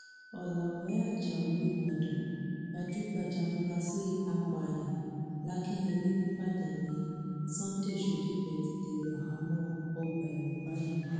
ọlàwé ajáò ìbàdàn gbajúgbajà afurasí àpáàyàn lakinyẹlé nìbàdàn nni sunday shodipe ti dèrò àhámọ ọgbà ẹwọn báyìí